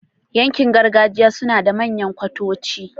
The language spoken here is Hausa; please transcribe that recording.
yankin gargajiya sunada manyan kwatoci